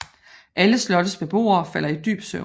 Alle slottets beboere falder i dyb søvn